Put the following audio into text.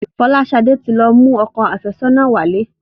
Folashade tí lọ mú òkò afesona wálé